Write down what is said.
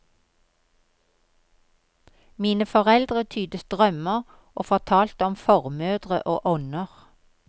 Mine foreldre tydet drømmer og fortalte om formødre og ånder.